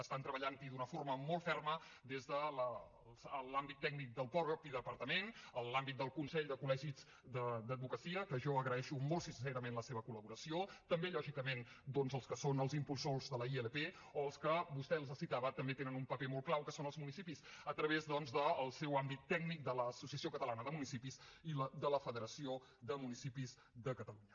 estan treballant hi d’una forma molt ferma des de l’àmbit tècnic del mateix departament en l’àmbit del consell de col·legis d’advocacia que jo els agraeixo molt sincerament la seva col·laboració també lògicament doncs els que són els impulsors de la ilp o els que vostè els citava també tenen un paper molt clau que són els municipis a través del seu àmbit tècnic de l’associació catalana de municipis i de la federació de municipis de catalunya